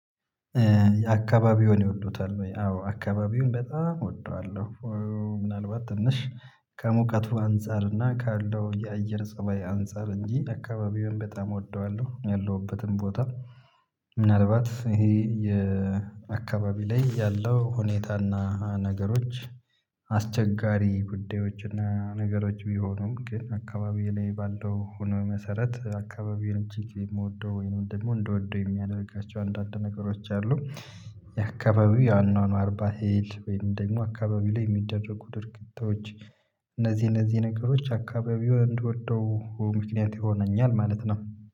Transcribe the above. አካባቢውን ይወዱታል ወይ? አዎ አካባቢውን በጣም እወደዋለሁ ምናልባት ትንሽ ከሙቀቱ አንፃር እና ካለው የአየር ፀባይ አንፃር እንጂ አካባቢውን በጣም እወደዋለሁ ያለሁበትም ቦታ ምናልባት ይሄ የአካባቢ ላይ ያለው ሁኔታና አስቸጋሪ ጉዳዮች እና ነገሮች ቢሆኑም ግን አካባቢየ ላይ ባለው ኢኮኖሚ መሰረት አካባቢውን ቼክ የምወደው ወይ ደግሞ እንድወደው የሚያደርጋቸው አንዳንድ ነገሮች አሉ የአካባቢው የአኗኗር ባህል ወይም ደግሞ አካባቢው ላይ የሚደረጉ ድርጊቶች እነዚህ እነዚህ ነገሮች አካባቢውን እንድወደው ምክንያት ይሆነኛል ማለት ነው